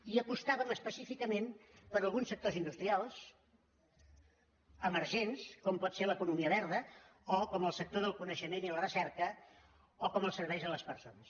i apostàvem específicament per alguns sectors industrials emergents com pot ser l’economia verda o com el sector del coneixement i la recerca o com els serveis a les persones